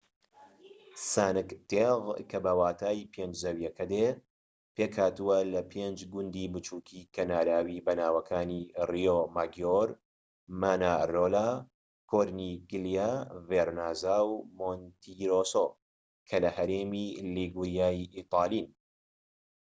سانک تێغ کە بە واتای پێنج زەویەکە دێت پێك هاتووە لە پێنج گوندی بچووکی کەناراوی بەناوەکانی ریۆماگیۆر مانارۆلا کۆرنیگلیا ڤێرنازا و مۆنتیرۆسۆ کە لە هەرێمی لیگوریا ی ئیتاڵین